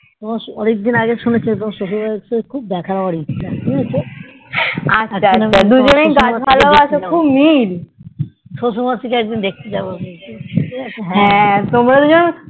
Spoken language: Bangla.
অনেক দিন আগে শুনেছি তোমার শশুর মশাই কে খুব দেখার আমার ইচ্ছা শশুর মশাইকে দেখতে যাবো একদিন